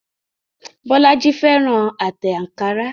Bolaji fẹ́ràn àwọn àtẹ̀ ankara.